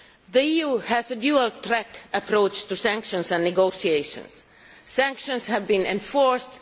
The EU has a dual track approach to sanctions and negotiations. Sanctions have been enforced.